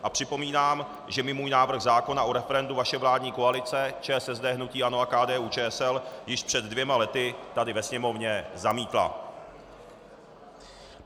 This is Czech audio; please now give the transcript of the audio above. A připomínám, že mi můj návrh zákona o referendu vaše vládní koalice ČSSD, hnutí ANO a KDU-ČSL již před dvěma lety tady ve Sněmovně zamítla.